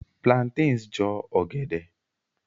Plantains Jọ ọgẹdẹ.